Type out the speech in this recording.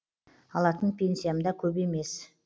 алатын пенсиям да көп емес